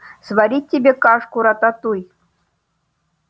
сварить тебе кашку-рататуй